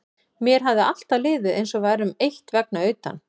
Mér hafði alltaf liðið eins og við værum eitt vegna utan